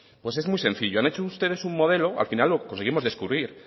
pues es muy sencillo han hecho ustedes un modelo al final lo conseguimos descubrir